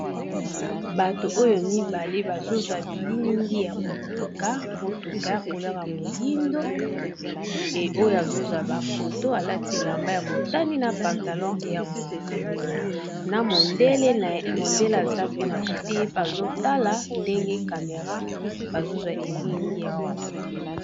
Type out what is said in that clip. bato oyo mibale bazozwa bililingi ya motuka motuka ya kolera moyindo e oyo azozwa bafoto alati elamba ya motani na pantalon ya moyindo na mondele aza pena kote ye pe azotala ndenge kamera bazozwa elilingi ya motuka